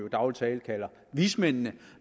i daglig tale kalder vismændene